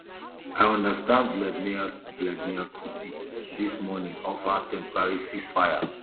i understand vladimir vladimir putin dis morning offer temporary ceasefire